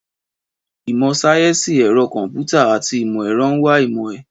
Ìmọ̀ sáyẹ́sì ẹ̀rọ kọ̀m̀pútà àti ìmọ̀ ẹ̀rọ ń wa ìmọ̀ ẹ̀